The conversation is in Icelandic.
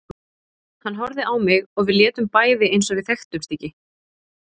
Hann horfði á mig og við létum bæði eins og við þekktumst ekki.